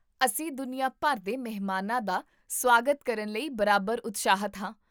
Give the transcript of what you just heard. ਅਸੀਂ ਦੁਨੀਆ ਭਰ ਦੇ ਮਹਿਮਾਨਾਂ ਦਾ ਸੁਆਗਤ ਕਰਨ ਲਈ ਬਰਾਬਰ ਉਤਸ਼ਾਹਿਤ ਹਾਂ